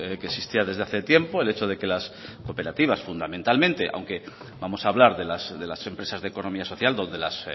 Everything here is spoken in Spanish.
que existía desde hace tiempo el hecho de que las cooperativas fundamentalmente aunque vamos a hablar de las empresas de economía social donde las